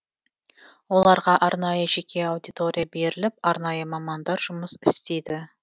оларға арнайы жеке аудитория беріліп арнайы мамандар жұмыс істейді